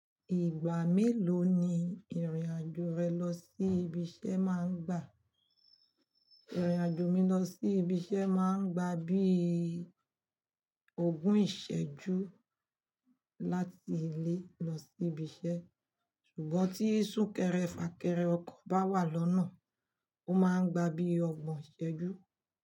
Ìgbà mélòó ni ìrìn-àjò rẹ lọ sí ibi iṣẹ́ máa ń gbà? Ìrìn-àjò mi lọ sí ibi iṣẹ́ máa ń gba bíi ogún ìṣẹ́jú láti ilé lọ sí ibi iṣẹ́, ṣùgbọ́n tí súnkẹrẹ fàkẹrẹ ọkọ̀ bá wà lọ́nà, ó máa ń gba bíi ọgbọ̀n ìṣẹ́jú.